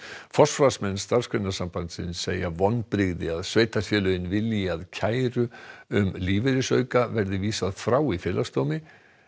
forsvarsmenn Starfsgreinasambandsins segja vonbrigði að sveitarfélögin vilji að kæru um lífeyrisauka verði vísað frá í Félagsdómi